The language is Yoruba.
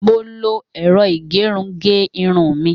Mo lo ẹ̀rọ ìgẹrun ge irun mi.